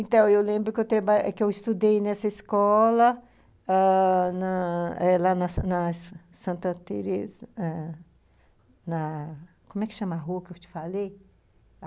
Então, eu lembro que eu estudei nessa escola ãh, na lá na Santa Tereza, ãh...na... Como é que chama a rua que eu te falei?